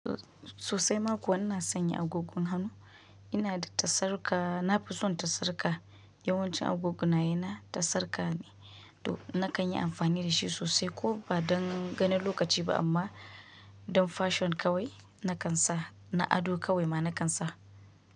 So-sosai makuwa ina sanya agogon hannu, ina da tasarka, na fi son tasarka. Yawancin agogona yana tasarka ne to na kan yi amfani da shi sosai ko ba don ganin lokaci ba amma don fashion kawai na kan sa, na ado kawai ma na kan sa.